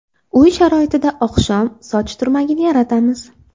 Uy sharoitida oqshom soch turmagini yaratamiz.